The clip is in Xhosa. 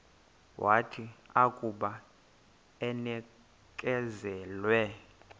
wathi akuba enikezelwe